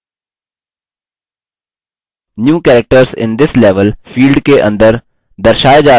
new characters in this level field के अंदर दर्शाए जा रहे new characters को देखें यह भी बदल गये हैं